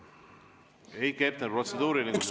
Heiki Hepner, protseduuriline küsimus.